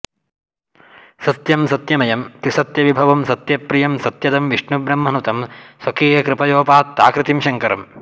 सत्यं सत्यमयं त्रिसत्यविभवं सत्यप्रियं सत्यदं विष्णुब्रह्मनुतं स्वकीयकृपयोपात्ताकृतिं शङ्करम्